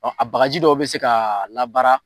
a bakarji dɔw bi se ka labaara